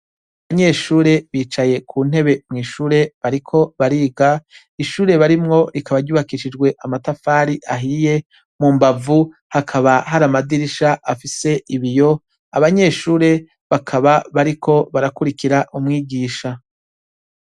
Abanyeshure bicaye ku ntebe mw' ishure bariko bariga, ishure barimwo rikaba ryubakishijwe amatafari ahiye, mu mbavu hakaba hari amadirisha afise ibiyo, abanyeshure bakaba bariko barakwirikira umwigisha.